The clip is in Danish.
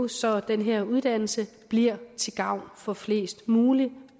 så den her uddannelse bliver til gavn for flest muligt